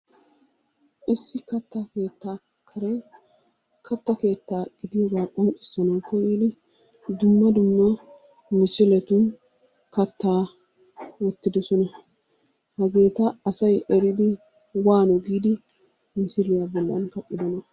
Issi katta keettaa karen kattaa keettaa gidiyooga qonccissana koyyidi dumma dumma misiletun kattaa wottidoosona. Hageeta asay eridi waano giidi misiliyaa bollan kaqqidoona?